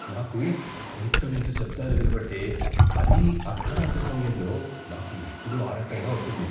నాకు వింత వింత శబ్దాలు వినపడితే, అదీ అర్ధరాత్రి సమయంలో, నాకు ఎప్పుడూ ఆరాటంగా ఉంటుంది.